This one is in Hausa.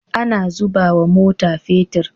Ana zubawa mota petir